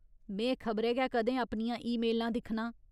में खबरै गै कदें अपनियां ईमेलां दिक्खनां।